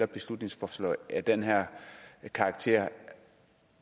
beslutningsforslag af den her karakter